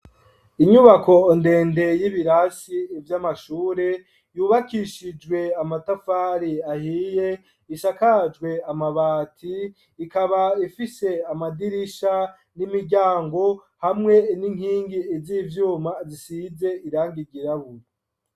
Inyubako ndende y'ibirasi vy'amashuri, yubakishijwe amatafari ahiye, ishakajwe amabati, ikaba ifise amadirisha n'imiryango, hamwe n'inkingi z'ivyuma zisize irangi ryirabura.